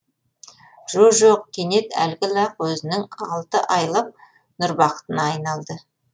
жо жоқ кенет әлгі лақ өзінің алты айлық нұрбақытына айналды